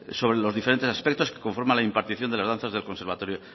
sobre los diferentes aspectos que conforman la impartición de las danzas del conservatorio